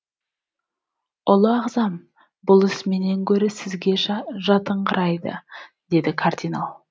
ұлы ағзам бұл іс менен гөрі сізге жатыңқырайды деді кардинал